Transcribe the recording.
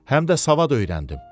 Həm də savad öyrəndim.